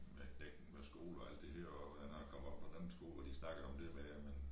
Med knægten med skole og alt det her og hvordan han er kommet op på den anden skole hvor de snakkede om dét med at man